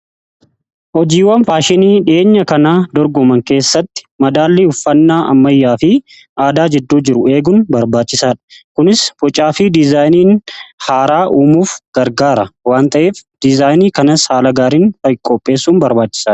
Hojiiwwan faashinii dhiyeenya kana dorgoman keessatti madaallii uffannaa ammayyaa fi aadaa jidduu jiru eeguun barbaachisaadha. Kunis bocaa fi diizaayinii haaraa uumuuf gargaara waan ta'eef diizaayinii kanas haala gaariin qoopheessuun barbaachisadha.